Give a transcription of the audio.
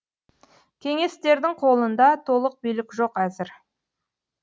кеңестердің қолында толық билік жоқ әзір